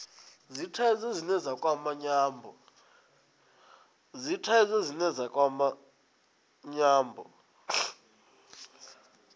dzithaidzo dzine dza kwama nyambo